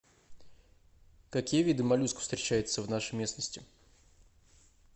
какие виды моллюсков встречаются в нашей местности